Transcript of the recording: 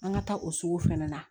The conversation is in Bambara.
An ka taa o sugu fɛnɛ na